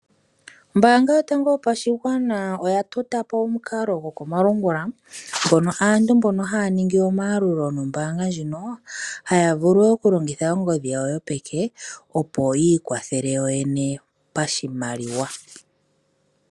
Ombaanga yotango yopashigwana oya tota po omukalo gokomalungula ngono aantu mbono haya ningi omayalulo nombaanga ndjino haya vulu okulongitha ongodhi yawo yopeke, opo yi ikwathele yoyene pashimaliwa.